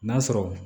N'a sɔrɔ